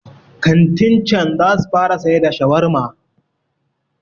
kantin can za su fara sai da shawarma